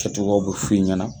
Kɛ togyaw b'u fu ɲɛna